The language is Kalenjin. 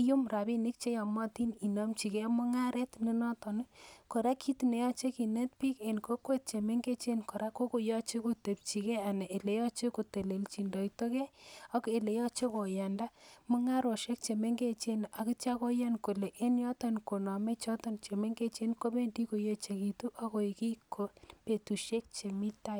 iyum rabinik cheyomotin inomjikee mungaret nenoton ii , koraa kit neyoche kinet bik en kokwet ii chemengechen koraa kokoyoche kotepchi kee anan yeyoche kotelejindoido kee eleyoche koyandaa mungaroshek chemengechen ak itio koyan kole en yoton konome choton chemengechen kobendi koyechekitu ak kit en betusiek chemi taa.